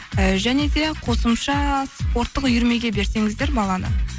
і және де қосымша спорттық үйірмеге берсеңіздер баланы